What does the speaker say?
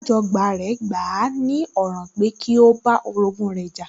Alájọbágbé rẹ̀ gbà á ní ọ̀ràn pẹ́ kí ó bá orogún rẹ̀ jà